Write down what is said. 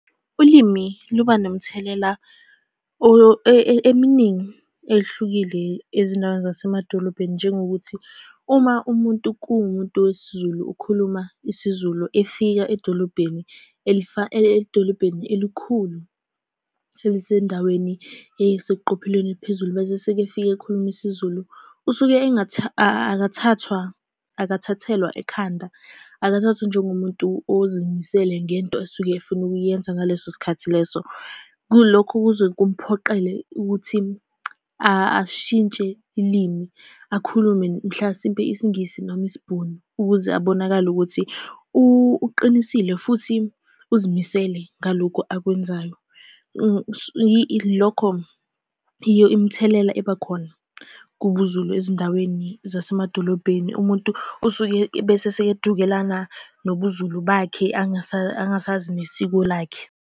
Ulimi luba nomthelela eminingi eyehlukile ezindaweni zasemadolobheni, njengokuthi uma umuntu kuwumuntu wesiZulu, ukhuluma isiZulu efika edolobheni edolobheni elikhulu elisendaweni eseqophelweni eliphezulu, bese sekefika ekhuluma isiZulu. Usuke akathathwa, akathathelwa ekhanda, akathakathwa njengomuntu ozimisele ngento asuke afuna ukuyenza ngaleso sikhathi leso. Kulokho kuze kumphoqele ukuthi ashintshe limi, akhulume mhlasimpe isiNgisi noma isiBhunu ukuze abonakale ukuthi uqinisile futhi uzimisele ngalokhu akwenzayo. Lokho yiyo imithelela eba khona kubuZulu ezindaweni zasemadolobheni. Umuntu osuke ebese sekedukelana nobuZulu bakhe, angasazi nesiko lakhe.